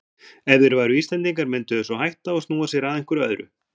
Ef þeir væru Íslendingar myndu þeir svo hætta og snúa sér að einhverju öðru.